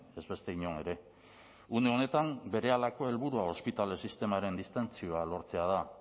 ez beste inon ere une honetan berehalako helburua ospitale sistemaren distentzioa lortzea da